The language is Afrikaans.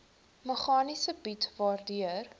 meganisme bied waardeur